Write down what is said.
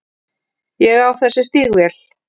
Ég á þessi stígvél.